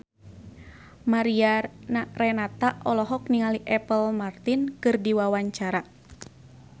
Mariana Renata olohok ningali Apple Martin keur diwawancara